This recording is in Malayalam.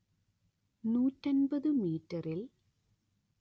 നൂറ്റി അന്‍പത്ത് മീറ്ററിൽ